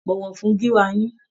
Bọ̀wọ̀ fún gíwá yín.